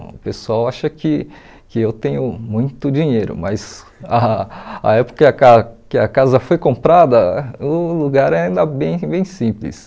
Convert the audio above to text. O pessoal acha que que eu tenho muito dinheiro, mas a a época que a ca que a casa foi comprada, o lugar é ainda bem bem simples.